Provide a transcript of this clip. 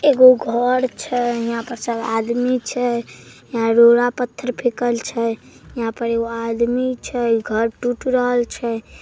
एगो घर छै यहां पर सब आदमी छै यहां रोड़ा पत्थर फेकल छै यहां पर एगो आदमी छै घर टूट रहल छै।